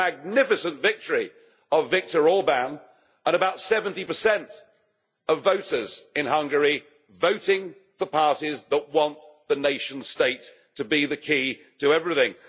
That magnificent victory of Viktor Orbán and about 70 of voters in Hungary voting for parties that want the nation state to be the key to everything.